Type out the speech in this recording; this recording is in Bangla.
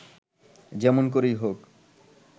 যেমন করেই হোক